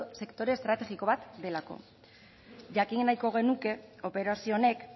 sektore estrategiko bat delako jakin nahiko genuke operazio honek